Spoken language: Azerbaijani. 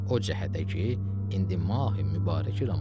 O cəhətə ki, indi Mahi Mübarək Ramazandır.